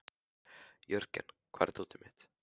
Jörgen, hvar er dótið mitt?